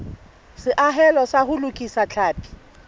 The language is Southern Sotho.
seahelo sa ho lokisa tlhapi